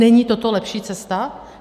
Není toto lepší cesta?